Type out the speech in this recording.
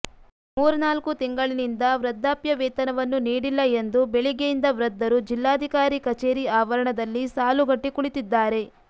ಮೂರ್ನಾಲ್ಕು ತಿಂಗಳಿನಿಂದ ವೃದ್ಧಾಪ್ಯ ವೇತನವನ್ನು ನೀಡಿಲ್ಲ ಎಂದು ಬೆಳಿಗ್ಗೆಯಿಂದ ವೃದ್ಧರು ಜಿಲ್ಲಾಧಿಕಾರಿ ಕಚೇರಿ ಆವರಣದಲ್ಲಿ ಸಾಲುಗಟ್ಟಿ ಕುಳಿತಿದ್ದಾರೆ